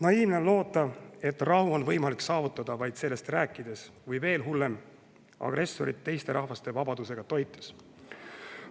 Naiivne on loota, et rahu on võimalik saavutada vaid sellest rääkides või – veel hullem – agressorit teiste rahvaste vabadusega toites.